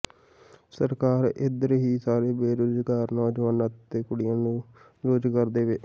ਸਰਕਾਰ ਇਧਰ ਹੀ ਸਾਰੇ ਬੇਰੁਜ਼ਗਾਰ ਨੌਜਵਾਨਾਂ ਅਤੇ ਕੁੜੀਆਂ ਨੂੰ ਰੁਜ਼ਗਾਰ ਦੇਵੇ